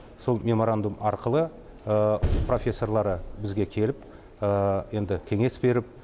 сол меморандум арқылы профессорлары бізге келіп енді кеңес беріп